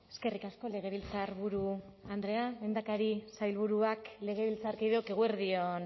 eskerrik asko legebiltzarburu andrea lehendakari sailburuak legebiltzarkideok eguerdi on